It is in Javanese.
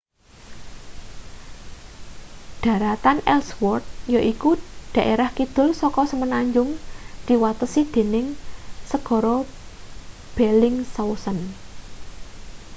dharatan ellsworth yaiku daerah kidul saka semenanjung diwatesi dening segara bellingshausen